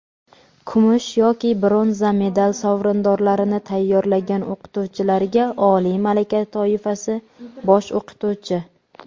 kumush yoki bronza medal sovrindorlarini tayyorlagan o‘qituvchilarga – oliy malaka toifasi (bosh o‘qituvchi).